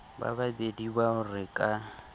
ba babedi bao re ka